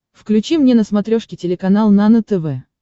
включи мне на смотрешке телеканал нано тв